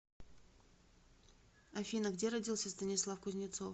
афина где родился станислав кузнецов